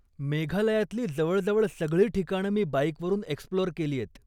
मेघालयातली जवळजवळ सगळी ठिकाणं मी बाईकवरून एक्स्प्लोअर केलीयत.